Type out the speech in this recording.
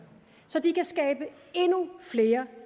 så de kan skabe endnu flere